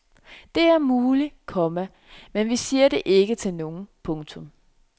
Det er muligt, komma men vi siger det ikke til nogen. punktum